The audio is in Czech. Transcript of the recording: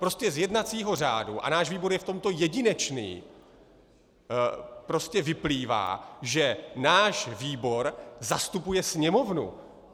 Prostě z jednacího řádu, a náš výbor je v tomto jedinečný, prostě vyplývá, že náš výbor zastupuje Sněmovnu.